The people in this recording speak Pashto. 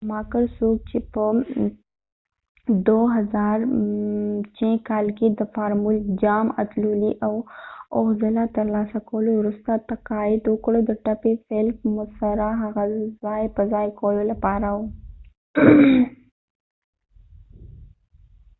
شوماکر څوک چې په ۲۰۰۶ کال کې د فارمول ۱ جام اتلولي اوه ځله ترلاسه کولو وروسته تقاعد وکړ، د ټپي فیلپ مسره ځای په ځای کولو لپاره و